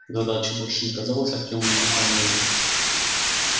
задача больше не казалась артему невыполнимой